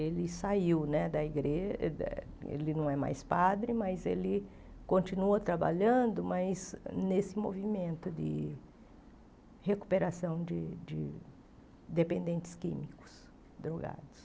Ele saiu né da igreja, ele não é mais padre, mas ele continua trabalhando mas nesse movimento de recuperação de de dependentes químicos drogados.